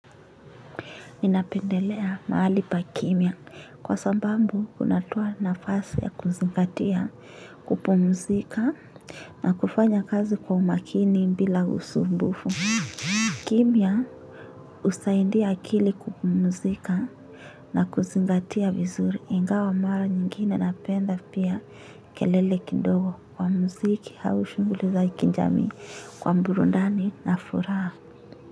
Ninapendelea mahali pakimia kwa sababu kunatoa nafasi ya kuzingatia kupumzika na kufanya kazi kwa makini bila usumbufu. Kimia husaidia akili kupumuzika na kuzingatia vizuri ingawa mara nyingine napenda pia kelele kidogo wa muziki au shughuli za kijamii kwa burundani na furaha.